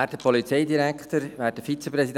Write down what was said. wird.